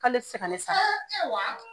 k'ale tɛ se ka ne sara